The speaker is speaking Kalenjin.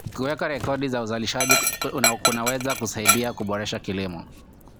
Kuweka rekodi za uzalishaji kunaweza kusaidia kuboresha kilimo.